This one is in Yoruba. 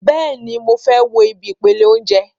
Bẹ́ẹ̀ni, mo fẹ́ wo ibi ìpele óúnjẹ